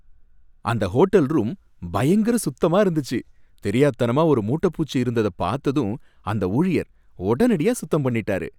அந்த hotel room பயங்கர சுத்தமா இருந்துச்சி, தெரியாத்தனமா ஒரு மூட்டை பூச்சி இருந்தத பாத்ததும் அந்த ஊழியர் உடனடியா சுத்தம் பண்ணிட்டாரு.